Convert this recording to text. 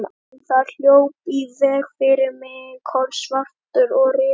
En þá hljóp í veg fyrir mig kolsvartur og risastór köttur.